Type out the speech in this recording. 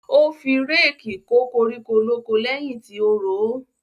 Ó fi réèkì kó koríko lóko lẹ́yìn tí ó ro ó.